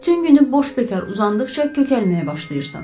Bütün günü boş bekar uzandıqca kökəlməyə başlayırsan.